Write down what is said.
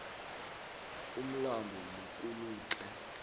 umlambo mukulutle